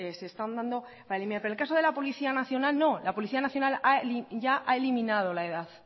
se están dando para eliminar pero en el caso de la policía nacional no la policía nacional ya ha eliminado la edad